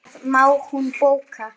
Það má hún bóka.